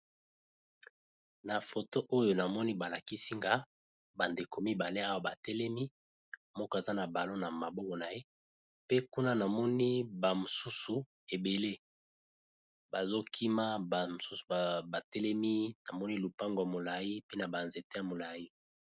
Na foto oyo namoni ba lakisi nga ba ndeko mibale awa ba telemi, moko aza na balon na maboko na ye pe kuna namoni ba misusu ebele bazo kima ba misusu ba telemi namoni lupango ya molai pe na ba nzete ya molai.